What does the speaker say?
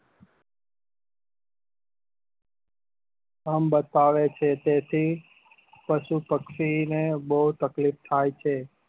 કામ બતાવે છે તેથી પશુ પક્ષી ને બઉ તકલીફ થાય છે